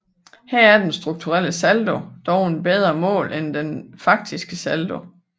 Her er den strukturelle saldo dog et bedre mål end den faktiske saldo